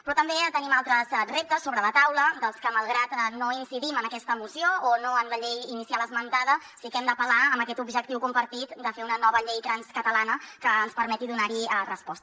però també tenim altres reptes sobre la taula als que malgrat que no incidim en aquesta moció o no en la llei inicial esmentada sí que hi hem d’apel·lar amb aquest objectiu compartit de fer una nova llei trans catalana que ens permeti donar hi resposta